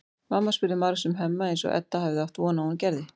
Mamma spurði margs um Hemma eins og Edda hafði átt von á að hún gerði.